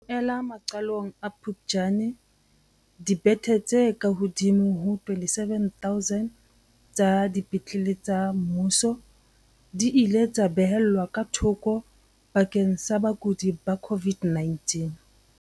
Ho ella maqalong a Phuptjane, dibethe tse kahodimo ho 27 000 tsa dipetlele tsa mmuso di ile tsa beellwa ka thoko bakeng sa bakudi ba COVID-19.